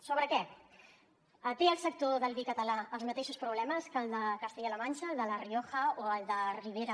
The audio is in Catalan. sobre què té el sector del vi català els mateixos problemes que el de castella la manxa el de la rioja o el de ribera